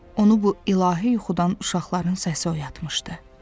Onu bu ilahi yuxudan uşaqların səsi oyatmışdı.